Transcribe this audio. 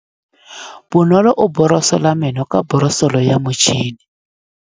Bonolô o borosola meno ka borosolo ya motšhine.